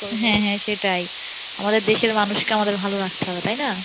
হ্যাঁ হ্যাঁ সেটাই আমাদের দেশের মানুষকে আমাদের ভালো রাখতে হবে তাই না?